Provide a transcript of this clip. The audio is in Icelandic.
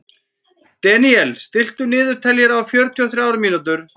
Deníel, stilltu niðurteljara á fjörutíu og þrjár mínútur.